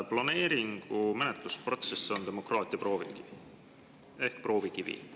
Planeeringu menetlusprotsess on demokraatia proovikivi.